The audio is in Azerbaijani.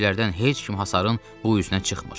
Xidmətçilərdən heç kim hasarın bu üzünə çıxmır.